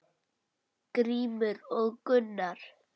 Grímur og Gunnar.